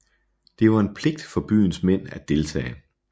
Det var en pligt for byens mænd at deltage